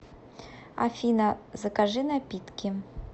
афина закажи напитки